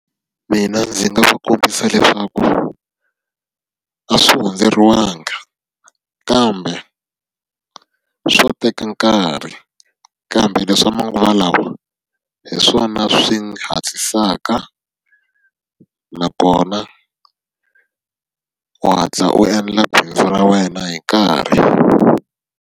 Mina ndzi nga va kombisa leswaku a swi hundzeriwanga, kambe swo teka nkarhi. Kambe leswi swa manguva lawa hi swona swi hatlisaka nakona u hatla u endla bindzu ra wena hi nkarhi.